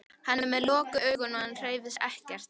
Hann er með lokuð augu og hann hreyfir sig ekkert.